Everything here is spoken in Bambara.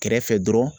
Kɛrɛfɛ dɔrɔn